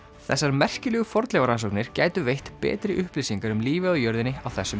þessar merkilegu fornleifarannsóknir gætu veitt betri upplýsingar um lífið á jörðinni á þessum